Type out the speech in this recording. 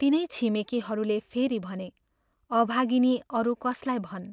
तिनै छिमेकीहरूले फेरि भने, " अभागिनी अरू कसलाई भन्।